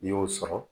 N'i y'o sɔrɔ